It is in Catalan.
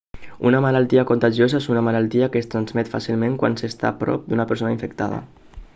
una malaltia contagiosa és una malaltia que es transmet fàcilment quan s'està a prop d'una persona infectada